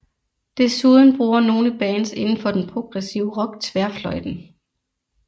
Desuden bruger nogle bands inden for den progressive rock tværfløjten